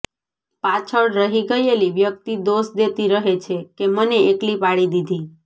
પાછળ રહી ગયેલી વ્યક્તિ દોષ દેતી રહે છે કે મને એકલી પાડી દીધી